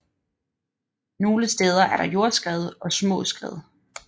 Nogle steder er der jordskred og små skred